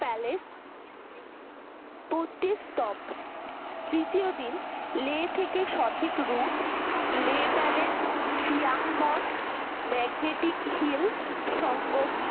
palace পূর্তি স্তব তৃতীয় দিন লে থেকে সঠিক root লে Palace সিয়াংমঠ magnetic Hill সঙ্গম